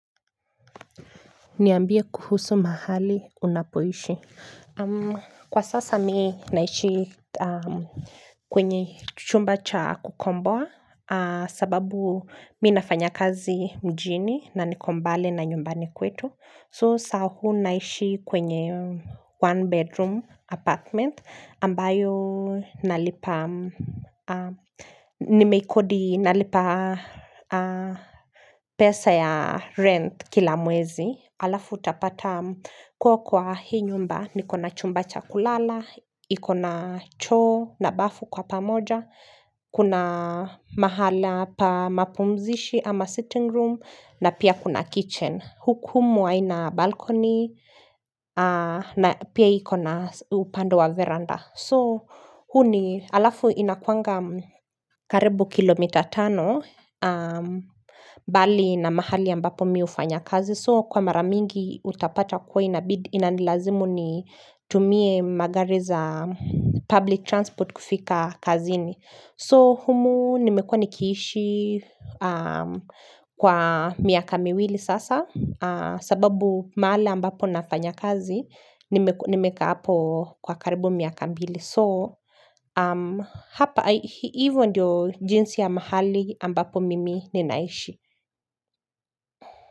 Niambie kuhusu mahali unapoishi Kwa sasa, mimi naishi kwenye chumba cha kukomboa sababu mimi nafanya kazi mjini na nikombali na nyumbani kwetu soo saa huu naishi kwenye one bedroom apartment ambayo nalipa Nimeikodi nalipa pesa ya rent kila mwezi, alafu utapata kwa hii nyumba, nikona chumba chakulala, ikona choo na bafu kwa pamoja, kuna mahala pa mapumzishi ama sitting room, na pia kuna kitchen, huku haina balcony, na pia ikona upande wa veranda. So huu ni alafu inakuanga karibu kilomita tano mbali na mahali ambapo mie hufanya kazi so kwa maramingi utapata huwa inabidi inanilazimu nitumie magari za public transport kufika kazini. So humu nimekuwa nikiishi kwa miaka miwili sasa sababu mahali ambapo nafanya kazi nimekaa hapo kwa karibu miaka mbili so hapa hivyo ndiyo jinsi ya mahali ambapo mimi ninaishi.